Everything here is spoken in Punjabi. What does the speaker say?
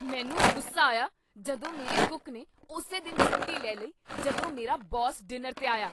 ਮੈਨੂੰ ਗੁੱਸਾ ਆਇਆ ਜਦੋਂ ਮੇਰੇ ਕੁੱਕ ਨੇ ਉਸੇ ਦਿਨ ਛੁੱਟੀ ਲੈ ਲਈ ਜਦੋਂ ਮੇਰਾ ਬੌਸ ਡਿਨਰ 'ਤੇ ਆਇਆ।